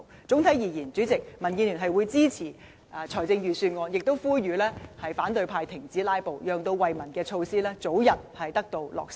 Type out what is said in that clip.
整體而言，主席，民建聯會支持預算案，亦呼籲反對派停止"拉布"，讓惠民措施早日得以落實。